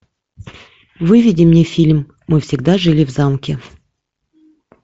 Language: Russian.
выведи мне фильм мы всегда жили в замке